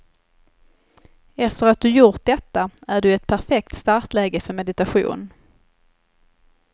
Efter att du gjort detta är du i ett perfekt startläge för meditation.